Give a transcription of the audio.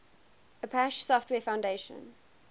apache software foundation